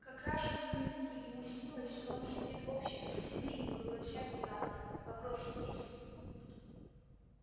как раз в эту минуту ему снилось что он сидит в общей гостиной и поглощает завтрак вопросы есть